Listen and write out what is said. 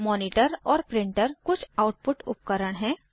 monitor और printer कुछ output उपकरण हैं